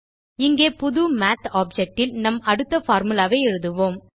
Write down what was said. இங்கே புது மாத் objectல் நம் அடுத்த பார்முலா ஐ எழுதுவோம்